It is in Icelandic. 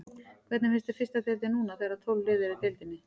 Hvernig finnst þér fyrsta deildin núna þegar að tólf lið eru í deildinni?